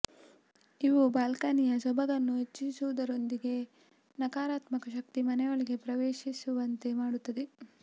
ಇವು ಬಾಲ್ಕನಿಯ ಸೊಬಗನ್ನು ಹೆಚ್ಚಿಸುವುದರೊಂದಿಗೆ ಸಕಾರಾತ್ಮ ಶಕ್ತಿ ಮನೆಯೊಳಗೆ ಪ್ರವೇಶಿಸುವಂತೆ ಮಾಡುತ್ತದೆ